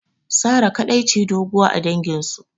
Sarah kadai ce doguwa a dangin su